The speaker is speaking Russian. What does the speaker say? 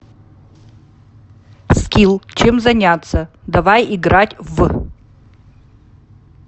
скилл чем заняться давай играть в